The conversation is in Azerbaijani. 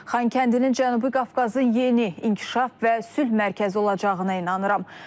Xankəndinin Cənubi Qafqazın yeni inkişaf və sülh mərkəzi olacağına inanıram.